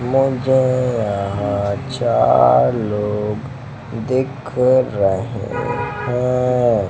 मुझे यहां चार लोग दिख रहे हैं।